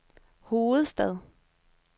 hovedstad